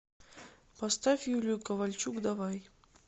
поставь юлию ковальчук давай